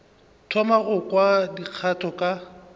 thoma go kwa dikgato ka